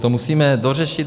To musíme dořešit.